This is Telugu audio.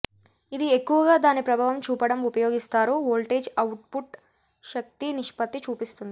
ఇది ఎక్కువగా దాని ప్రభావం చూపడం ఉపయోగిస్తారు వోల్టేజ్ అవుట్పుట్ శక్తి నిష్పత్తి చూపిస్తుంది